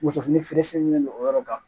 Muso fini feere sirilen don o yɔrɔ kan